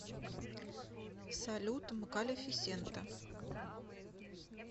салют мкалефисента